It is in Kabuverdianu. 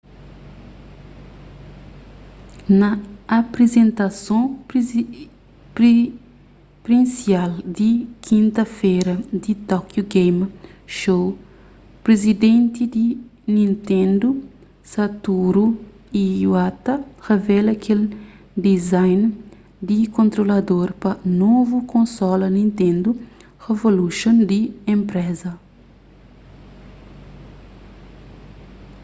na aprizentason prinsial di kinta-fera di tokyo game show prizidenti di nintendo satoru iwata revela kel design di kontrolador pa novu konsola nitendo revolution di enpreza